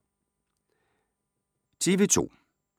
TV 2